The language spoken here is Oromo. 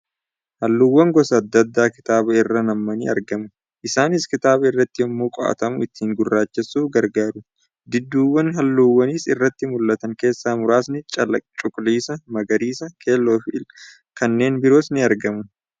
Halluuwwan gosa adda addaa kitaaba irra nammanii argamu. Isaanis kitaaba irratti yemmuu qo'atamu ittiin gurraachessuuf gargaaru. Dibduuwwa halluu as irratti mul'atan keessaa muraasni cuquliisa, magariisa , keelloo fi lkanneen birois ni argamu.